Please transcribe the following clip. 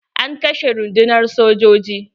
An kashe rundunar sojoji.